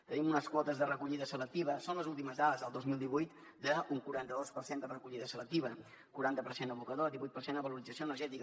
tenim unes quotes de recollida selectiva són les últimes dades del dos mil divuit d’un quaranta dos per cent quaranta per cent abocador divuit per cent a valorització energètica